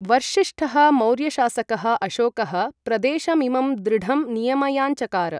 वर्षिष्ठः मौर्यशासकः अशोकः प्रदेशमिमं दृढं नियमयाञ्चकार।